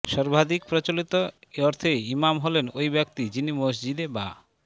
সর্বাধিক প্রচলিত অর্থে ইমাম হলেন ওই ব্যক্তি যিনি মসজিদে বা